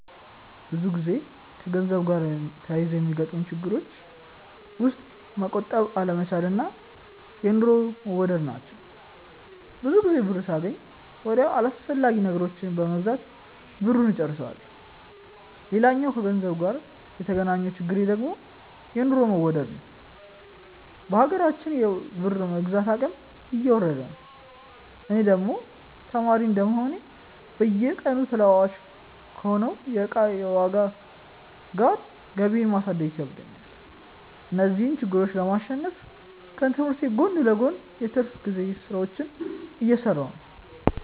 ብዙ ጊዜ ከገንዘብ ጋር ተያይዞ ከሚያጋጥሙኝ ችግሮች ውስጥ መቆጠብ አለመቻል እና የኑሮ መወደድ ናቸው። ብዙ ጊዜ ብር ሳገኝ ወዲያው አላስፈላጊ ነገሮችን በመግዛት ብሩን እጨርሰዋለሁ። ሌላኛው ከገንዘብ ጋር የተገናኘው ችግሬ ደግሞ የኑሮ መወደድ ነዉ። በሀገራችን የብር የመግዛት አቅም እየወረደ ነው። እኔ ደግሞ ተማሪ እንደመሆኔ በየቀኑ ተለዋዋጭ ከሆነው የእቃዎች ዋጋ ጋር ገቢየን ማሳደግ ይከብደኛል። እነዚህን ችግሮች ለማሸነፍ ከትምህርቴ ጎን ለጎን የትርፍ ጊዜ ስራዎችን እየሰራሁ ነው።